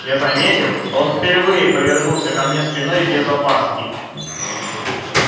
я заметил что он впервые повернулся ко мне спиной без опаски